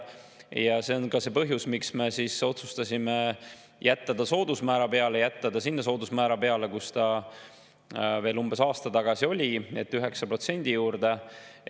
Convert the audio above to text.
Ja samal põhjusel me otsustasime jääda selle soodusmäära juurde, mis veel umbes aasta tagasi oli, ehk 9% juurde.